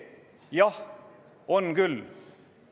Jah, on küll.